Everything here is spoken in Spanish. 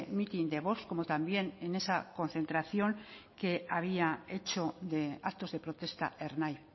mitin de vox como también en esa concentración que había hecho de actos de protesta ernai